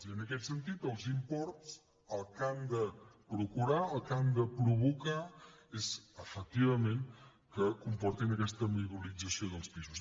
i en aquest sentit els imports el que han de procurar el que han de provocar és efectivament que comportin aquesta mobilització dels pisos